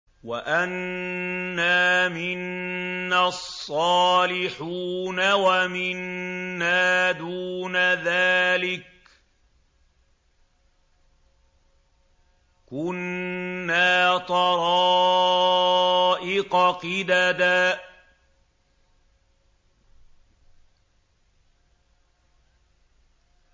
وَأَنَّا مِنَّا الصَّالِحُونَ وَمِنَّا دُونَ ذَٰلِكَ ۖ كُنَّا طَرَائِقَ قِدَدًا